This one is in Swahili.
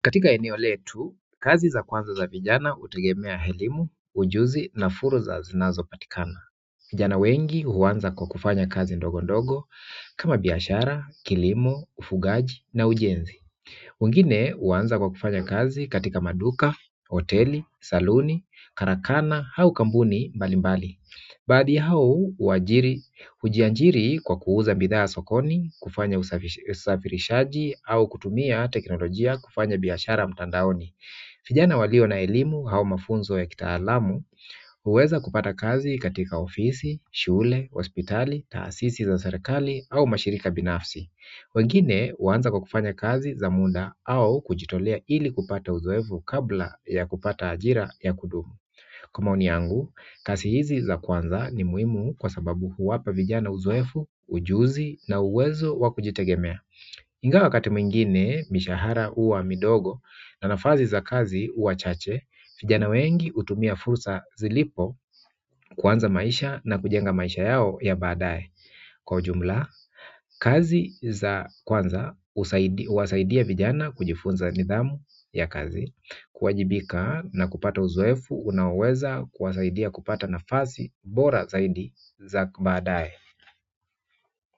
Katika eneo letu, kazi za kwanza za vijana hutegemea helimu, ujuzi na furza zinazopatikana. Vijana wengi huanza kwa kufanya kazi ndogo ndogo kama biashara, kilimo, ufugaji na ujenzi. Wengine huanza kwa kufanya kazi katika maduka, hoteli, saluni, karakana hau kampuni mbali mbali. Baadhi ya hau huajiri hujiajiri kwa kuuza bidhaa sokoni, kufanya usafirishaji au kutumia teknolojia kufanya biashara mtandaoni. Vijana walio na elimu au mafunzo ya kitaalamu, huweza kupata kazi katika ofisi, shule, hospitali, taasisi za serekali au mashirika binafsi. Wengine huanza kwa kufanya kazi za muda au kujitolea ili kupata uzoevu kabla ya kupata ajira ya kudumu. Kwa maoni yangu, kazi hizi za kwanza ni muhimu kwa sababu huwapa vijana uzoefu, ujuzi na uwezo wa kujitegemea. Ingawa wakati mwingine mishahara huwa midogo na nafasi za kazi huwa chache, vijana wengi hutumia fursa zilipo kuanza maisha na kujenga maisha yao ya badae. Kwa jumla, kazi za kwanza, husaidi huwasaidia vijana kujifunza nidhamu ya kazi kuwajibika na kupata uzoefu, unaoweza kuwasaidia kupata nafasi, bora zaidi za badae.